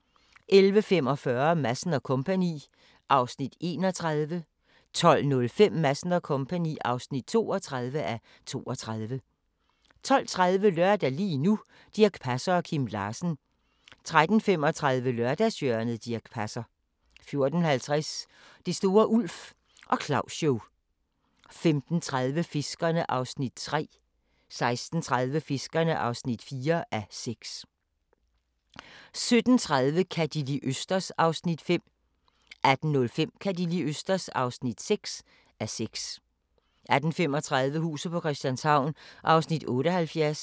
11:45: Madsen & Co. (31:32) 12:05: Madsen & Co. (32:32) 12:30: Lørdag – lige nu: Dirch Passer og Kim Larsen 13:35: Lørdagshjørnet - Dirch Passer 14:50: Det store Ulf og Claus-show 15:30: Fiskerne (3:6) 16:30: Fiskerne (4:6) 17:30: Ka' De li' østers? (5:6) 18:05: Ka' De li' østers? (6:6) 18:35: Huset på Christianshavn (78:84)